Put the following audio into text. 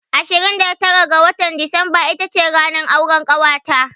Ashirin da tara ga watan Disamba ita ce ranar auran ƙawata.